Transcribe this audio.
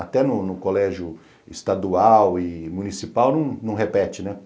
Até no no colégio estadual e municipal não não repete, né?